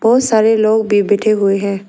बहुत सारे लोग भी बैठे हुए हैं।